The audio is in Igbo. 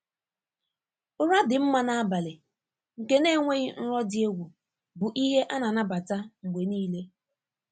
Ụra dị mma n'abalị, nke na-enweghị nrọ dị egwu, bụ ihe a na-anabata mgbe niile.